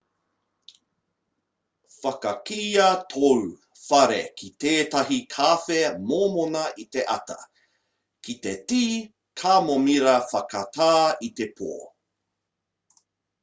whakakīia tōu whare ki tētahi kawhe mōmona i te ata ki te tī kamomira whakatā i te pō